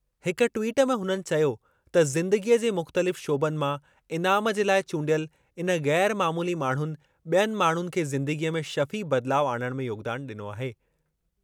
हिक ट्वीट में हुननि चयो त ज़िंदगीअ जे मुख़्तलिफ़ शोबनि मां इनाम जे लाइ चूंडियल इन ग़ैर मामूली माण्हुनि बि॒यनि माण्हुनि खे ज़िंदगीअ में शफ़ी बदिलाउ आणणु में योगदान ॾिनो आहे।